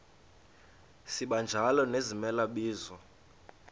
sibanjalo nezimela bizo